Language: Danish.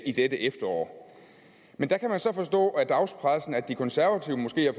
i dette efterår men der kan man så forstå på dagspressen at de konservative måske har